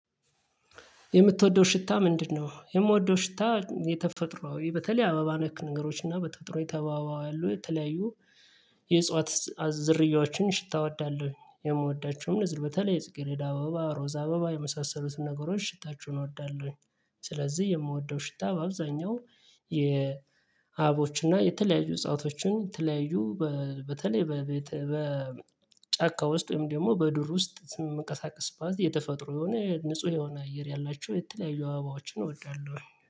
የምትወደው ሽታ ምንድነው? የምወደው ሽታ የተፈጥሮዊ በተለይ አበባ ነክ ነገሮች እና በተጠሩ የተባባሉ የተለያዩ የእጽዋት ዝርያዎችን ሽታ እወዳለሁ የምወዳቸውም እንዝር በተለይ ጽጌሬዳ አበባ ሮዛ አበባ የመሳሰሉትን ነገሮች ሽታችሁን እወዳለሁኝ ስለዚህ የምወደው ሽታ በአብዛኛው የአቦችና የተለያዩ እጸዋቶችን ተለያዩ በተለይ በቤተ በጫካ ውስጥ ወይም ደግሞ በዱር ውስጥ ስም መቀሳቀስ ባዝ የተፈጥሮ የሆነ፣ ንጹህ የሆነ አየር ያላቸው የተለያዩ አባባዎችን እወዳለሁ፤